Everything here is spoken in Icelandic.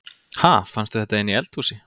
Ha! Fannstu þetta inni í eldhúsi?